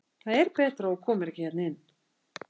Það er betra að þú komir ekki hérna inn.